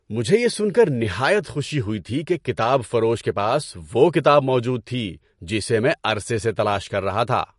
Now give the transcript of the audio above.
مجھے یہ سن کر نہایت خوشی ہوئی تھی کہ کتاب فروش کے پاس وہ کتاب موجود تھی جسے میں عرصے سے تلاش کر رہا تھا!